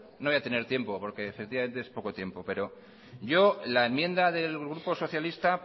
no voy a tener tiempo porque efectivamente es poco tiempo yo la enmienda del grupo socialista